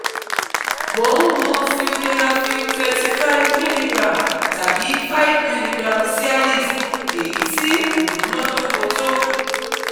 Mo n mu Sildenafil twenty five milligrams tabi five milligrams Cialis, eyi ti o munadoko to